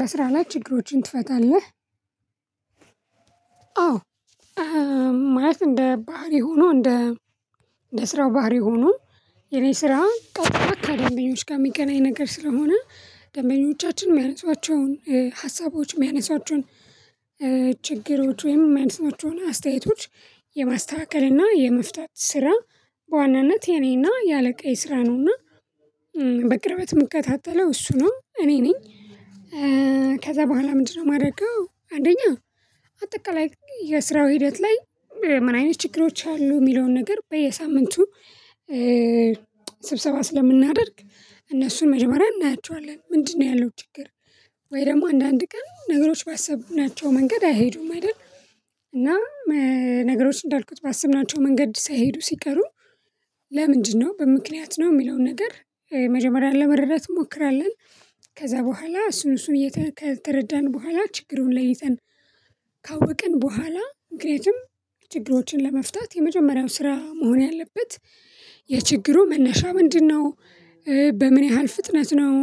በስራ ላይ ችግሮችን ትፈታለህ? አዎ ማለት እንደ ባህሪ ሆኖ እንደ ለስራው ባህሪ ሆኖ የኔ ስራ ጠብቀህ አካዳሚዎች ጋር የሚገናኝ ነገር ስለሆነ ደንበኞቻችን የሚያነሷቸውን ሀሳቦች የሚያነሷቸውን ችግሮች ወይም አይነት ስራዎች ሆና አስተያየቶች የማስተካከል እና የመፍታት ስራ በዋናነት የኔና የአለቃ የስራ ነውና በቅርበት ምክታተለው እሱ እና እኔ ነኝ። ከዛ በኋላ ምንድነው የማደርገው አንደኛ አጠቃላይ የስራው ሂደት ላይ ምን አይነት ችግሮች አሉ የሚለውን ነገር በየሳምንቱ ስብሰባ ስለምናደርግ እነሱን መጀመሪያ እናያቸዋለን። ምንድነው ያለው ችግር ወይ ደግሞ አንዳንድ ቀን ነገሮች ባሰብናቸው መንገድ አይሄዱም አይደል? እና ነገሮች እንዳልኩት ባስብናቸው መንገድ ሳይሄዱ ሲቀሩ በምክንያት ነው የሚለውን ነገር መጀመሪያ ለመረዳት እንሞክራለን። ከዛ በኋላ እሱን እሱን እየተረዳን በኋላ ችግሩን ለይተን ካወቅን በኋላ ምክንያቱም ችግሮችን ለመፍታት የመጀመሪያው ስራ መሆን ያለበት የችግሩ መነሻ ምንድነው? በምን ያህል ፍጥነት ነው?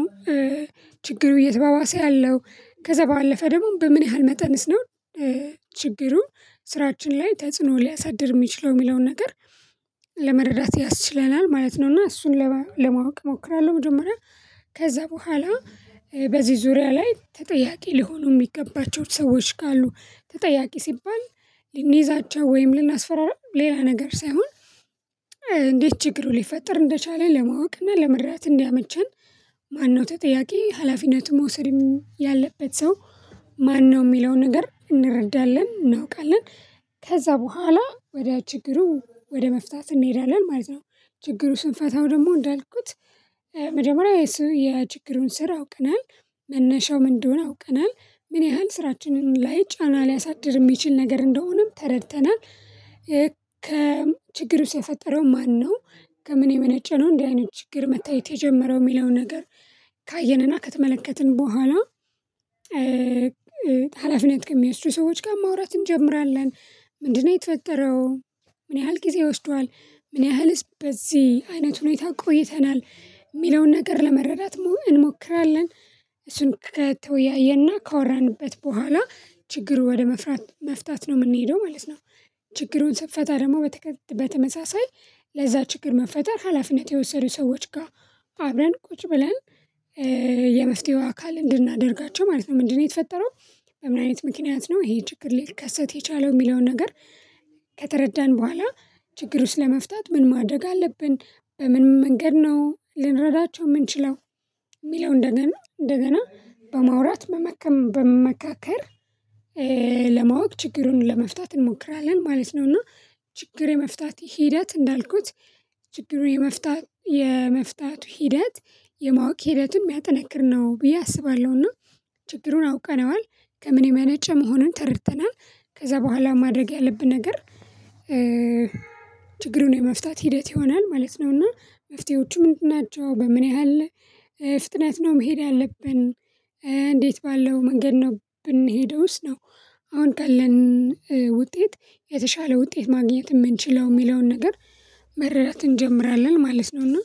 ችግሩ እየተባባሰ ያለው ከዛ ባለፈ ደግሞ በምን ያህል መጠንስ ነው? ችግሩ ስራችን ላይ ተጽዕኖ ሊያሳድር የሚችለው የሚለውን ነገር ለመረዳት ያስችለናል ማለት ነው እና እሱን ለማወቅ እሞክራለሁ። መጀመሪያ ከዛ በኋላ በዚህ ዙሪያ ላይ ተጠያቂ ሊሆኑ የሚገባቸው ሰዎች ካሉ ተጠያቂ ሲባል ልንይዛቸው ወይም ልናስፈራራ ሌላ ነገር ሳይሆን እንዴት ችግሩ ሊፈጥር እንደቻለ ለማወቅ እና ለመረዳት እንዲያመቸን ማነው ተጠያቂ ሀላፊነቱ መውሰድም ያለበት ሰው ማነው የሚለውን ነገር እንረዳለን እናውቃለን። ከዛ በኋላ ወደ ችግሩ ወደ መፍታት እንሄዳለን ማለት ነው። ችግሩ ስንፈታው ደግሞ እንዳልኩት መጀመሪያ የሱ የችግሩን ስር አውቀናል መነሻው ምን እንደሆነ አውቀናል። ምን ያህል ስራችንን ላይ ጫና ሊያሳድር የሚችል ነገር እንደሆነም ተረድተናል። ከችግሩ ሲፈጠረው ማነው? ከምን የመነጨ ነው? እንዴ አይነት ችግር መታየት የጀመረው የሚለውን ነገር ካየንና ከተመለከትን በኋላ ሀላፊነት ከሚወስዱ ሰዎች ጋር ማውራት እንጀምራለን ምንድነው የተፈጠረው? ምን ያህል ጊዜ ይወስደዋል ምን ያህልስ በዚህ አይነት ሁኔታ ቆይተናል የሚለውን ነገር ለመረዳት መሆን እንሞክራለን። እሱን ከተወያየና ካወራንበት በኋላ ችግሩ ወደ መፍታት ነው የምንሄደው ማለት ነው። ችግሩን ስትፈታ ደግሞ በተመሳሳይ ለዛ ችግር መፈጠር ሀላፊነት የወሰዱ ሰዎች ጋር አብረን ቁጭ ብለን የመፍትሄው አካል እንድናደርጋቸው ማለት ነው። ምንድነው የተፈጠረው? በምን አይነት ምክንያት ነው? ይሄ ችግር ሊከሰት የቻለው የሚለውን ነገር ከተረዳን በኋላ ችግር ውስጥ ለመፍታት ምን ማደግ አለብን? በምን መንገድ ነው ልንረዳቸው የምንችለው? የሚለው እንደገና እንደገና በማውራት መመካከር ለማወቅ ችግሩን ለመፍታት እንሞክራለን ማለት ነው። እና ችግር የመፍታት ሂደት እንዳልኩት ችግር የመፍታት የመፍታቱ ሂደት የማወቅ ሂደቱን የሚያጠነክር ነው ብዬ አስባለሁና። ችግሩን አውቀነዋል ከምን የሚያነጨ መሆኑን ተረድተናል ከዛ በኋላ ማድረግ ያለብን ነገር ችግሩን የመፍታት ሂደት ይሆናል ማለት ነው። እና መፍትሄዎቹ ምንድን ናቸው? በምን ያህል ፍጥነት ነው? መሄድ ያለብን እንዴት ባለው መንገድ ነው የምንሄደውስ? ነው አሁን ካለን ውጤት የተሻለ ውጤት ማግኘት የምንችለው የሚለውን ነገር መረዳት እንጀምራለን ማለት ነው። እና